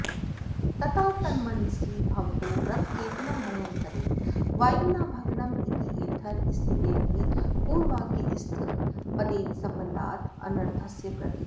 तता तन्मनसि भवतो रथकेतनं भयङ्करेण वायुना भग्नम् इत्यथेर् स्थितेऽपि पूर्ववाक्यस्थपदेन सम्बन्धात् अनर्थस्य प्रतीतिः